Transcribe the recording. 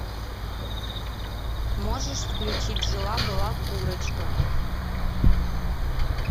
можешь включить жила была курочка